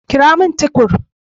Kirowo min Tukur.